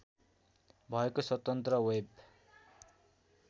भएको स्वतन्त्र वेब